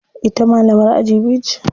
Ita malamar aji biyu ce.